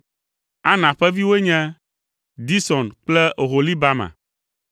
Ana ƒe viwoe nye: Dison kple Oholibama.